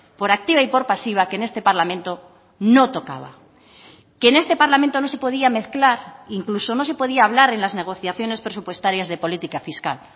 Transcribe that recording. por activa y por pasiva que en este parlamento no tocaba que en este parlamento no se podía mezclar incluso no se podía hablar en las negociaciones presupuestarias de política fiscal